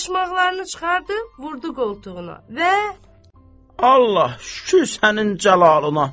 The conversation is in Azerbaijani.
Başmaqlarını çıxardı, vurdu qoltuğuna və Allah, şükür sənin cəlalına!